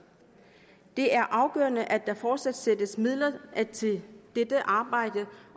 det er afgørende at der fortsat sættes midler af til dette arbejde